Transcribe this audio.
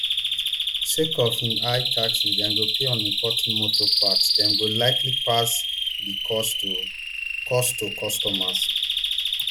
sake of di high taxes dem go pay on importing motor parts dem go likely pass di cost to cost to customers